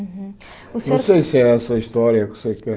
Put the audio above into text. Uhum o senhor Não sei se é essa a história que você quer.